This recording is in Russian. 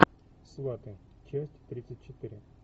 сваты часть тридцать четыре